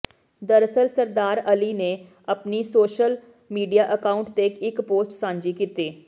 ਦਰਅਸਲ ਸਰਦਾਰ ਅਲੀ ਨੇ ਆਪਣੀ ਸੋਸ਼ਲ ਮੀਡੀਆ ਅਕਾਉਂਟ ਤੇ ਇਕ ਪੋਸਟ ਸਾਂਝੀ ਕੀਤੀ